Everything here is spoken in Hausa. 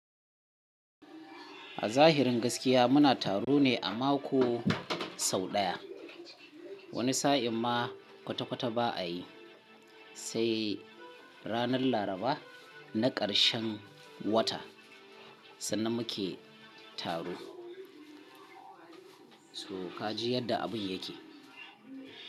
A zahirin gaskiya muna taro ne a mako sau ɗaya. Wani sa'in ma kwata-kwata ba a yi. Sai ranar Laraba na ƙarshen wata sannan muke taro. So ka ji yadda abun yake.